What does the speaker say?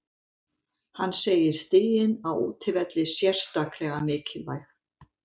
Hann segir stigin á útivelli sérstaklega mikilvæg.